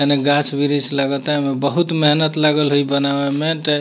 ऐने गाँछ-वृष लागता एमे बहुत मेहनत लागल हइई बनावे में ते --